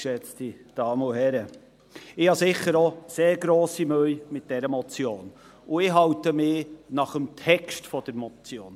Ich habe sicher auch sehr grosse Mühe mit dieser Motion und ich halte mich nach dem Text der Motion.